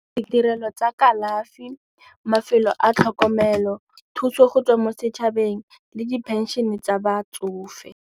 Ditirelo tsa kalafi, mafelo a tlhokomelo, thuso go tswa mo setšhabeng le diphenšene tsa batsofe.